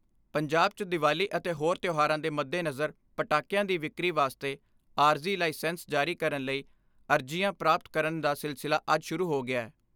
ਪੰਜਾਬ 'ਚ ਦੀਵਾਲੀ ਅਤੇ ਹੋਰ ਤਿਉਹਾਰਾਂ ਦੇ ਮੱਦੇਨਜ਼ਰ ਪਟਾਕਿਆਂ ਦੀ ਵਿਕਰੀ ਵਾਸਤੇ ਆਰਜ਼ੀ ਲਾਇਸੈਂਸ ਜਾਰੀ ਕਰਨ ਲਈ ਅਰਜ਼ੀਆਂ ਪ੍ਰਾਪਤ ਕਰਨ ਦਾ ਸਿਲਸਿਲਾ ਅੱਜ ਸ਼ੁਰੂ ਹੋ ਗਿਐ।